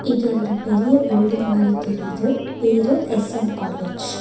இது ஒரு பெரிய பில்டிங் மாரி தெரியிது பேரு எஸ்_எம் காலேஜ் .